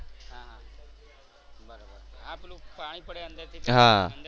હા હા બરોબર આ પેલું પાણી પડે અંદર થી